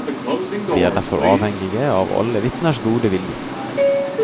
Vi er derfor avhengig av alle vitners gode vilje.